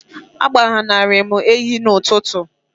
agbanari m enyi n'ụtụtụ a